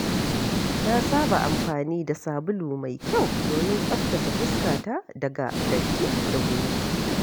Na saba amfani da sabulu mai kyau domin tsaftace fuskata daga datti da gumi.